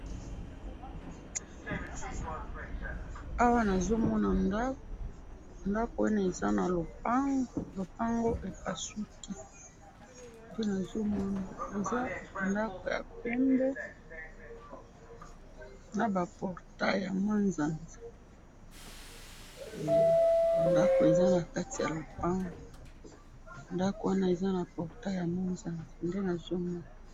awa nazomona ndaku ndaku wana eza na lopangu, lopangu epasuki nde nazo mona eza ndaku ya pembe na ba portail ya manzanza, ndaku eza nakati ya lopangu lopangu yango ez na manzanza nde nazomona.